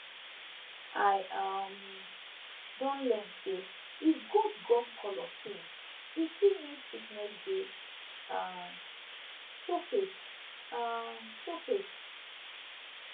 i um don learn say if goat gum color change e fit mean sickness dey um show face um show face